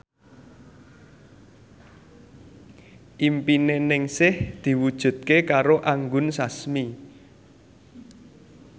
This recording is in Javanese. impine Ningsih diwujudke karo Anggun Sasmi